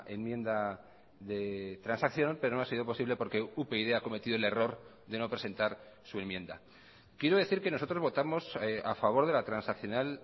enmienda de transacción pero no ha sido posible porque upyd ha cometido el error de no presentar su enmienda quiero decir que nosotros votamos a favor de la transaccional